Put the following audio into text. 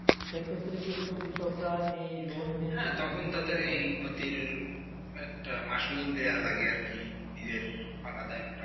সে ক্ষেত্রে কৃষকরা কিন্তু এই লোন নিয়ে তো, হ্যাঁ তখন তো তবে এই ক্ষেতের একটা মাসল দিয়ে লাগে আর কি নিজের আলাদা একটা